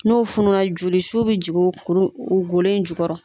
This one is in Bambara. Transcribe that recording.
N'o fununa jolisiw bɛ jigin kuru in o golo jukɔrɔ.